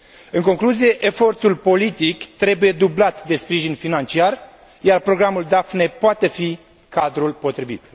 În concluzie, efortul politic trebuie dublat de sprijin financiar, iar Programul Daphne poate fi cadrul potrivit.